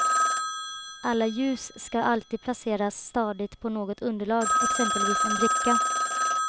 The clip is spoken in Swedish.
Alla ljus ska alltid placeras stadigt på något underlag, exempelvis en bricka.